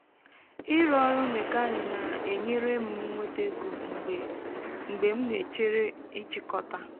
ịrụ ọrụ mekaanị na-enyere m nweta ego mgbe mgbe m na-echere nchikọta